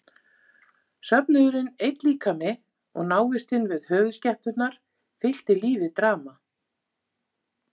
Söfnuðurinn einn líkami og návistin við höfuðskepnurnar fyllti lífið drama.